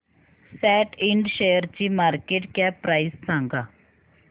सॅट Ind शेअरची market cap price सांगा